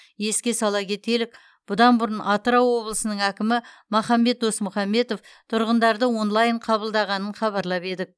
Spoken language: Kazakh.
еске сала кетелік бұдан бұрын атырау облысының әкімі махамбет досмұхамбетов тұрғындарды онлайн қабылдағанын хабарлап едік